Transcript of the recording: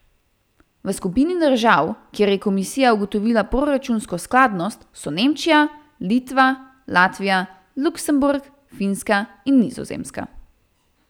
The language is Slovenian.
V skupini držav, kjer je komisija ugotovila proračunsko skladnost so Nemčija, Litva, Latvija, Luksemburg, Finska in Nizozemska.